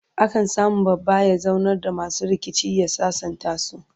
a kan samu babba ya zaunar da masu rikici ya sasantasu